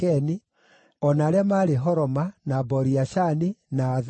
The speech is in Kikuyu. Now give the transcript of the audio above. o na arĩa maarĩ Horoma, na Bori-Ashani, na Athaki,